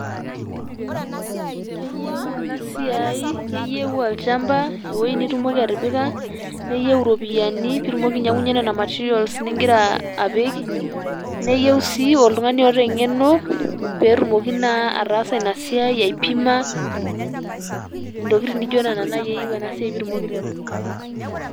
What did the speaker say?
Keyieu ena siai ,keyieu olchamba ,ewuoi nitumoki atipika neyieu iropiyiani pitumoki nena materials ningira apik, neyieu sii oltungani oota engeno petumoki naa taasa ina siai ,aipima ,ntokitin nijo nena naji eyieu ena siai pitumoki aiteru.